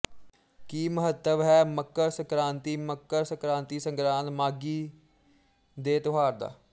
ਕੀ ਮਹੱਤਵ ਹੈ ਮਕਰ ਸੰਕ੍ਰਾਂਤੀ ਮਕਰ ਸੰਕ੍ਰਾਂਤੀਸੰਗਰਾਂਦ ਮਾਘੀਦੇ ਤਿਉਹਾਰ ਦਾ